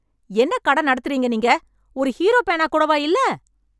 என்ன கடை நடத்துறீங்க நீங்க? ஒரு ஹீரோ பேனா கூடவா இல்ல!?